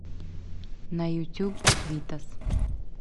на ютуб витас